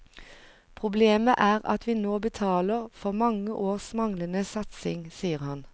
Problemet er at vi nå betaler for mange års manglende satsing, sier han.